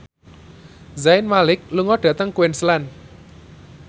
Zayn Malik lunga dhateng Queensland